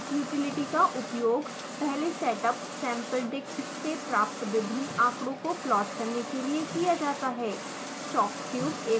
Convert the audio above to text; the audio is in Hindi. इस utility का उपयोग पहले सेट अप sampledict से प्राप्त विभिन्न आंकड़ों को प्लोट करने के लिए किया जाता है